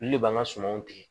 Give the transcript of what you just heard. Olu de b'an ka sumanw tigɛ